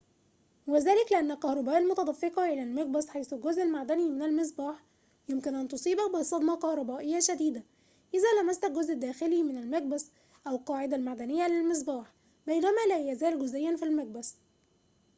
وذلك لأن الكهرباء المتدفقة إلى المقبس حيث الجزء المعدني من المصباح يمكن أن تصيبك بصدمة كهربائية شديدة إذا لمست الجزء الداخلي من المقبس أو القاعدة المعدنية للمصباح بينما لا يزال جزئياً في المقبس